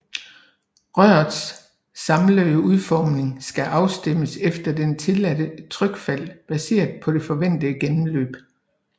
Rørets samlede udformning skal afstemmes efter det tilladte trykfald baseret på det forventede gennemløb